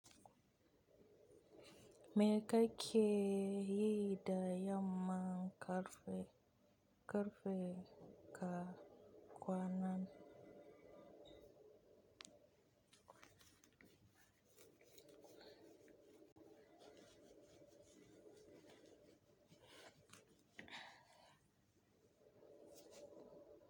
Me ka ke yi da yamman ƙarfe ƙarfe ka kwanan?